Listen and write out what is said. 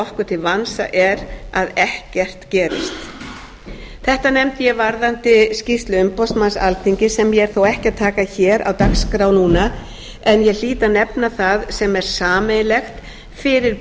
okkur til vansa er að ekkert gerist þetta nefndi ég varðandi skýrslu umboðsmanns alþingis sem ég er þó ekki að taka hér á dagskrá núna en ég hlýt að nefna það sem er sameiginlegt fyrir